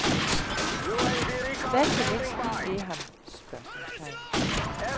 Hvad kan du mindst lide ved ham? spørgsmålstegn